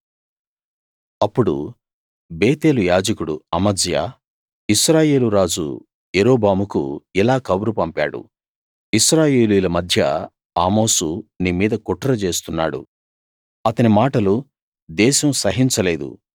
అప్పుడు బేతేలు యాజకుడు అమజ్యా ఇశ్రాయేలు రాజు యరొబాముకు ఇలా కబురు పంపాడు ఇశ్రాయేలీయుల మధ్య ఆమోసు నీ మీద కుట్ర చేస్తున్నాడు అతని మాటలు దేశం సహించలేదు